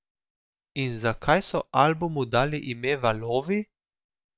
In zakaj so albumu dali ime Valovi?